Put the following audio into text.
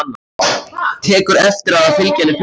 Tekur eftir að það fylgja henni fuglar.